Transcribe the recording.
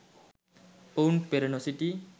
ඔවුන් පෙර නොසිටි